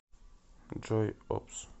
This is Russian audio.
джой опус